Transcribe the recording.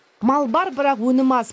мал бар бірақ өнім аз